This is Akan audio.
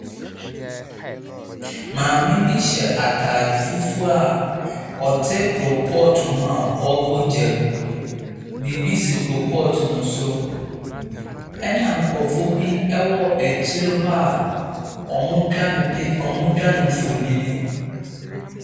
Maame bi hyɛ ataade fufuo a ɔte koolpɔt ho a ɔbɔ gya mu. Biibi si koolpɔt no so, ɛna nkorɔfoɔ bi ɛwɔ akyire hɔ a wɔmo twa no mfonini.